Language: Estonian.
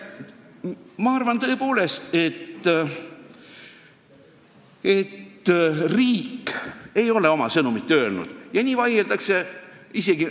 Ma arvan tõepoolest, et riik ei ole oma sõnumit öelnud, ja nii vaieldaksegi.